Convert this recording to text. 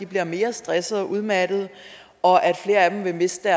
bliver mere stressede og udmattede og at flere af dem vil miste